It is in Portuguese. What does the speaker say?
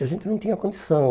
E a gente não tinha condição.